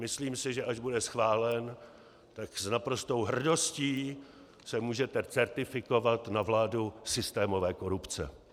Myslím si, že až bude schválen, tak s naprostou hrdostí se můžete certifikovat na vládu systémové korupce.